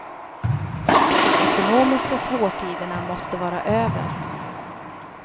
De ekonomiska svårtiderna måste vara över.